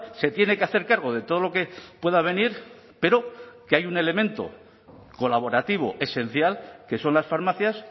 se tiene que hacer cargo de todo lo que pueda venir pero que hay un elemento colaborativo esencial que son las farmacias